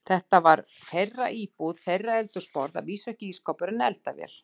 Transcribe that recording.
Þetta var þeirra íbúð, þeirra eldhúsborð, að vísu ekki ísskápur, en eldavél.